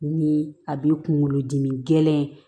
Ni a b'i kunkolodimi gɛlɛn